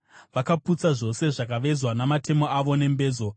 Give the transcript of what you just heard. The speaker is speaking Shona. Vakaputsa zvose zvakavezwa namatemo avo nembezo.